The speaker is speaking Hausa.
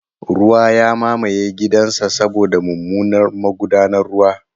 Ruwa ya mamaye gidansa saboda mummunan magudanar ruwa.